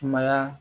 Sumaya